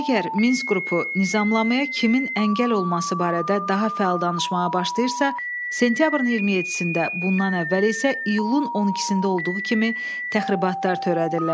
Əgər Minsk qrupu nizamlamaya kimin əngəl olması barədə daha fəal danışmağa başlayırsa, sentyabrın 27-də, bundan əvvəl isə iyulun 12-də olduğu kimi təxribatlar törədirlər.